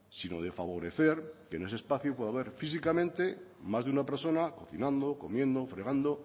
sino de favorecer que en ese espacio pueda haber físicamente más de una persona cocinando comiendo fregando